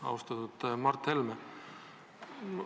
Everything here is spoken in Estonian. Austatud Mart Helme!